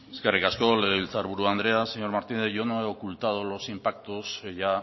eskerrik asko legebiltzar buru andrea señor martínez yo no he ocultado los impactos que ya